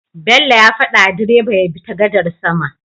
Bello ya fada wa direba yabi ta gadar sama